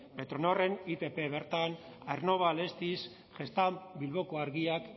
petronorren itp bertan aernnova alestis gestamp bilboko argiak